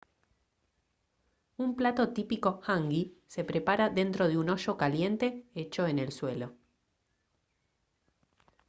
un plato típico hangi se prepara dentro de un hoyo caliente hecho en el suelo